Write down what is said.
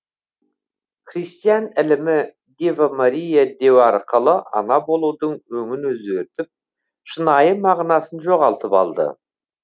христиан ілімі дева мария деу арқылы ана болудың өңін өзгертіп шынайы мағынасын жоғалтып алды